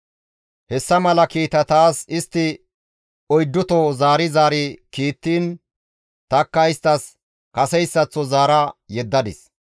Hessa mala kiita taas istti oydduto zaari zaari kiittiin tanikka isttas kaseyssaththo zaara yeddadis.